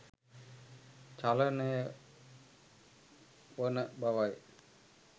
චලනය වන බවයි